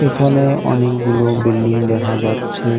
এখানে অনেকগুলো বিল্ডিং দেখা যাচ্ছে।